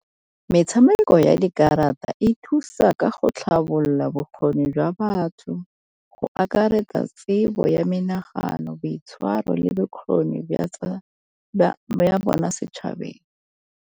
Metshameko ya dikarata e thusa ka go tlhabolola bokgoni jwa batho go akaretsa tsebo ya menenagano boitshwaro le bokgoni ya bona setšhabeng.